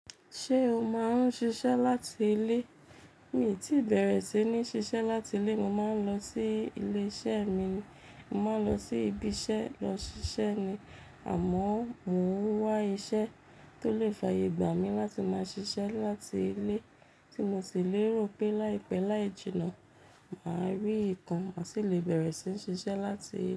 Ṣé o máa ń ṣiṣẹ́ láti ilé? Mí i tí bẹ̀rẹ̀ sí ní ṣiṣẹ́ láti ilé, mo máa ń lọ sí ilé-iṣẹ́ mi ni. Mo máa lọ sí ibi iṣẹ́ lọ ṣiṣẹ́ ni àmọ́ mo n wá iṣẹ́ tó lè fàyè gbà mí láti máa ṣiṣẹ́ láti ilé tí mo sì lérò pé láìpẹ́ láì jìnnà, mà á rí ìkàn, mà sì le bẹ̀rẹ̀ sí ní ṣiṣẹ́ láti ilé.